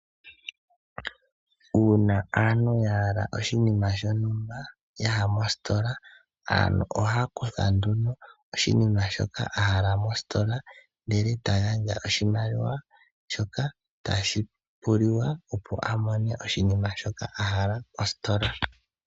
Uuna aantu ya hala oshinima shontumba ya ya mositola aantu oha ya kutha nduno oshinima shoka a hala mositola. Ndele eta gandja oshimaliwa shoka tashi puliwa opo a mone oshinima shoka a hala mositola.